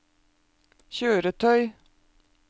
kjøretøy